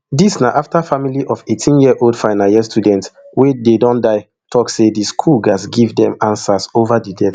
dis na afta family of eighteenyearold final year student wey dey don die tok say di school gatz give dem answers ova di death